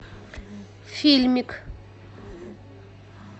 фильмик